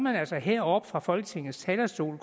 altså heroppe fra folketingets talerstol